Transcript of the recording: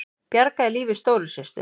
Bjargaði lífi stóru systur